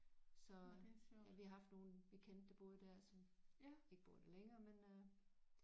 Så ja vi har haft nogen vi kendte der boede der som ikke bor der længere men øh